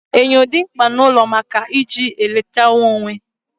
Enyo dị mkpa n'ụlọ maka na e ji ya elecha onwe